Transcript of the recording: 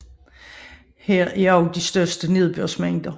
Her er også de største nedbørsmængder